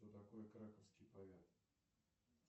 кто такой краковский поэт